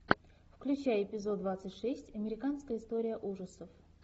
включай эпизод двадцать шесть американская история ужасов